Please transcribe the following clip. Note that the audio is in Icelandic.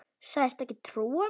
Sagðist ekki trúa mér.